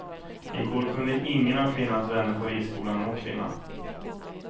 I går kunde ingen av kvinnans vänner på ridskolan nå kvinnan.